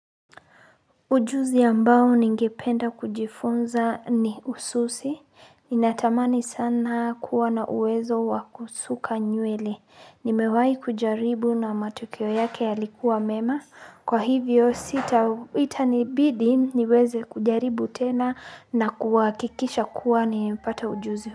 Ujuzi ambao ningependa kujifunza ni ususi. Ninatamani sana kuwa na uwezo wa kusuka nywele. Nimewahi kujaribu na matukio yake yalikuwa mema. Kwa hivyo sita itanibidi niweze kujaribu tena na kuhakikisha kuwa nimepata ujuzi.